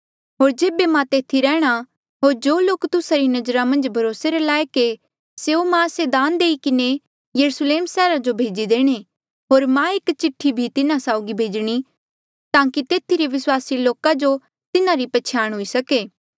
होर जेबे मां तेथी रेहणा होर जो लोक तुस्सा री नजरा मन्झ भरोसा रे लायक ऐें स्यों मां से दान देई किन्हें यरुस्लेम सैहरा जो भेजी देणे होर मां एक चिठ्ठी भी तिन्हा साउगी भेजणी ताकि तेथी रे विस्वासी लोका जो तिन्हारी पैहचाण हुई सके